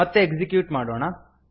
ಮತ್ತೆ ಎಕ್ಸಿಕ್ಯೂಟ್ ಮಾಡೋಣ